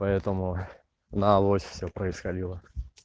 поэтому на авось все происходило